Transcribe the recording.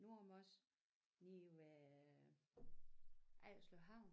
Nordmors lige ved Ejerslev Havn